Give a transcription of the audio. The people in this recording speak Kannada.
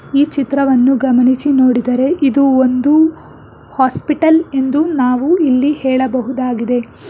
ಈ ಚಿತ್ರವನ್ನು ಗಮನಿಸಿ ನೋಡಿದರೆ ಇದು ಒಂದು ಹಾಸ್ಪಿಟಲ್ ಎಂದು ನಾವು ಇಲ್ಲಿ ಹೇಳಬಹುದಾಗಿದೆ.